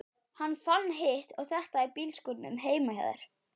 Hann fann hitt og þetta í bílskúrnum heima hjá þér.